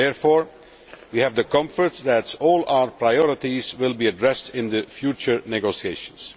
Therefore, we have the comfort that all our priorities will be addressed in future negotiations.